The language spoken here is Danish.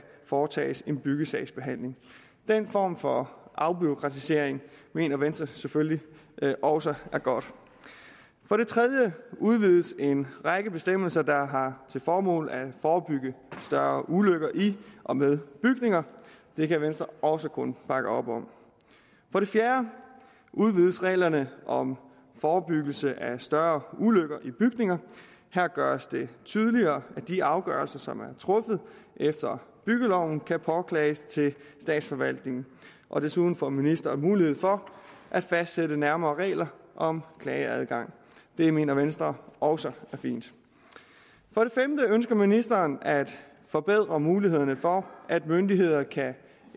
foretages en byggesagsbehandling den form for afbureaukratisering mener venstre selvfølgelig også er godt for det tredje udvides en række bestemmelser der har til formål at forebygge større ulykker i og med bygninger det kan venstre også kun bakke op om for det fjerde udvides reglerne om forebyggelse af større ulykker i bygninger her gøres det tydeligere at de afgørelser som er truffet efter byggeloven kan påklages til statsforvaltningen og desuden får ministeren mulighed for at fastsætte nærmere regler om klageadgang det mener venstre også er fint for det femte ønsker ministeren at forbedre mulighederne for at myndigheder kan